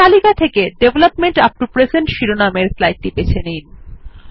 তালিকা থেকে ডেভেলপমেন্ট উপ্ত প্রেজেন্ট শিরোনামের স্লাইডটি বেছে নিন